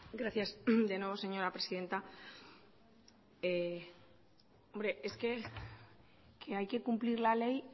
gracias de nuevo señora presidenta hombre es que que hay que cumplir la ley